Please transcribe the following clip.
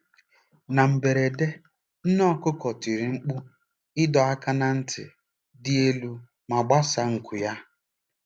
Na mberede, nne okuko tiri mkpu ịdọ aka ná ntị dị elu ma gbasaa nku ya.